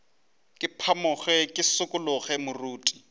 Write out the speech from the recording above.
ke phamoge ke šikologe moriti